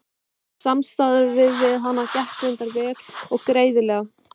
En samstarfið við hann gekk reyndar vel og greiðlega.